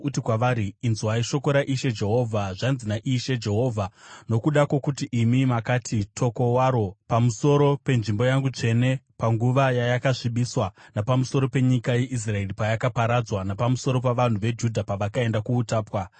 Uti kwavari, ‘Inzwai shoko raIshe Jehovha. Zvanzi naIshe Jehovha: Nokuda kwokuti imi makati, “Toko waro!” pamusoro penzvimbo yangu tsvene panguva yayakasvibiswa napamusoro penyika yeIsraeri payakaparadzwa, napamusoro pavanhu veJudha pavakaenda kuutapwa,